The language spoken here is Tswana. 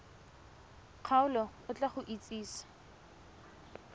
kgaolo o tla go itsise